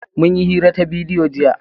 Mun yi hira ta bidiyo jiya.